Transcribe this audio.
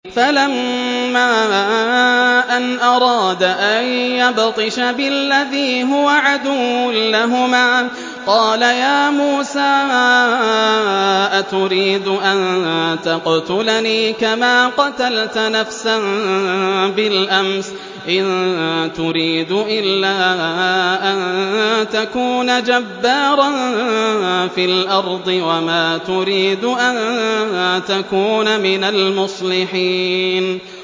فَلَمَّا أَنْ أَرَادَ أَن يَبْطِشَ بِالَّذِي هُوَ عَدُوٌّ لَّهُمَا قَالَ يَا مُوسَىٰ أَتُرِيدُ أَن تَقْتُلَنِي كَمَا قَتَلْتَ نَفْسًا بِالْأَمْسِ ۖ إِن تُرِيدُ إِلَّا أَن تَكُونَ جَبَّارًا فِي الْأَرْضِ وَمَا تُرِيدُ أَن تَكُونَ مِنَ الْمُصْلِحِينَ